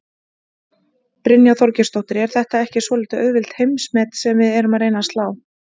Brynja Þorgeirsdóttir: Er þetta ekki svolítið auðveld heimsmet sem við erum að reyna að slá?